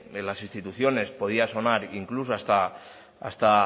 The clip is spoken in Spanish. en las instituciones podía sonar incluso hasta